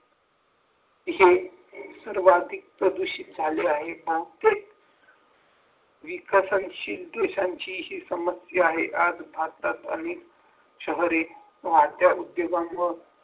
जे सुरुवातीत प्रदूषित झाले आहेत ना तेच विकसित समस्या आहे आज भारतात अनेक शहरी वाढत्या उद्योगामुळे